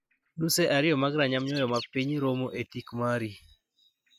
Nuse ariyo mag ranyam nyoyo ma piny romo e tik mari.